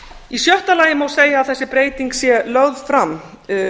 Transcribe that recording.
í sjötta lagi má segja að þessi breyting sé lögð fram